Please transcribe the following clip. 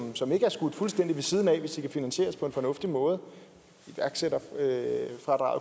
som ikke er skudt fuldstændig ved siden af hvis de kan finansieres på en fornuftig måde iværksætterfradraget